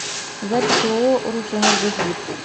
запись ооо русэнергосбыт